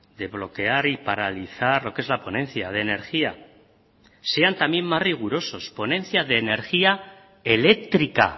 de bloquear y paralizar lo que es la ponencia de energía sean también más rigurosos ponencia de energía eléctrica